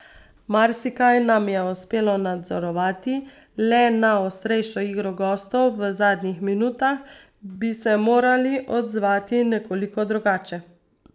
Marsikaj nam je uspelo nadzorovati, le na ostrejšo igro gostov v zadnjih minutah bi se morali odzvati nekoliko drugače.